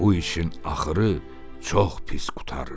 Bu işin axırı çox pis qurtarır."